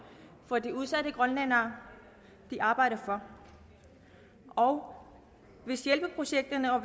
for de udsatte grønlændere de arbejder for og hvis hjælpeprojekterne og